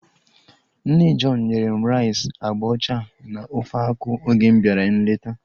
Nne John nyere m rice agba ọcha na ofe akwụ oge m bịara nleta